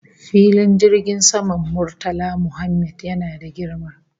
Filin jirgin saman Murtala Mohammed yana da girma